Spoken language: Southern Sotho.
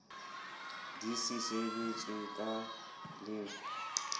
di se sebetswe ka le